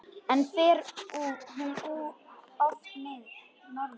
En fer hún oft norður?